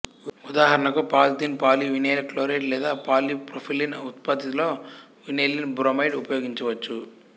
ఉదాహరణకు polyethylene poly vinyl chloride లేదా పాలీప్రొఫైలిన్ ఉత్పత్తిలో వినైల్ బ్రోమైడ్ ఉపయోగించవచ్చు